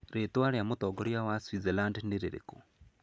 Rĩĩtwa rĩa mũtongoria wa Switzerland nĩ rĩrĩkũ?